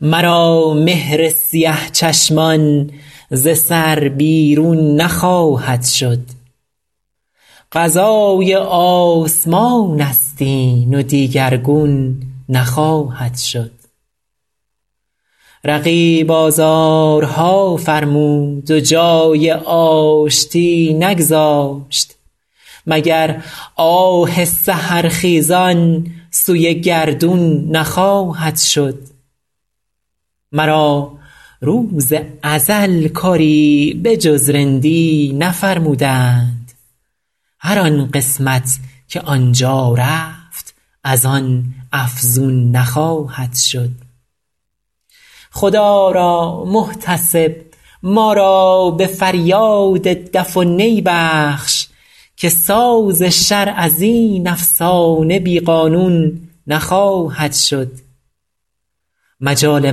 مرا مهر سیه چشمان ز سر بیرون نخواهد شد قضای آسمان است این و دیگرگون نخواهد شد رقیب آزارها فرمود و جای آشتی نگذاشت مگر آه سحرخیزان سوی گردون نخواهد شد مرا روز ازل کاری به جز رندی نفرمودند هر آن قسمت که آن جا رفت از آن افزون نخواهد شد خدا را محتسب ما را به فریاد دف و نی بخش که ساز شرع از این افسانه بی قانون نخواهد شد مجال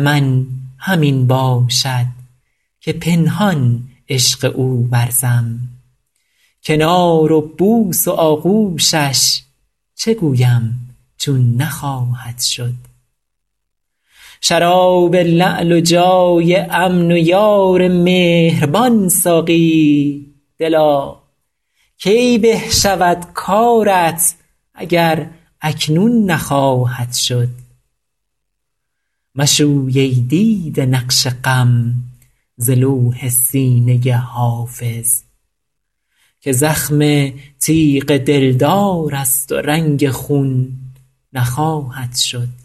من همین باشد که پنهان عشق او ورزم کنار و بوس و آغوشش چه گویم چون نخواهد شد شراب لعل و جای امن و یار مهربان ساقی دلا کی به شود کارت اگر اکنون نخواهد شد مشوی ای دیده نقش غم ز لوح سینه حافظ که زخم تیغ دلدار است و رنگ خون نخواهد شد